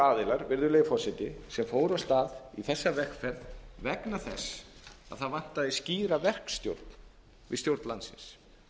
aðilar virðulegi forsetisem fóru af stað í þessa vegferð vegna þess að það vantaði skýra verkstjórn við stjórn landsins